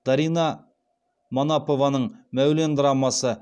дарина манапованың мәулен драмасы